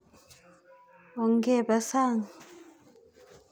Ongepe sang'.